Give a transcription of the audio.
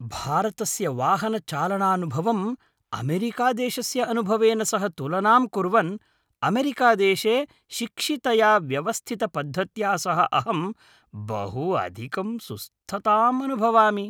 भारतस्य वाहनचालनानुभवम् अमेरिकादेशस्य अनुभवेन सह तुलनां कुर्वन्, अमेरिकादेशे शिक्षितया व्यवस्थितपद्धत्या सह अहं बहु अधिकं सुस्थताम् अनुभवामि।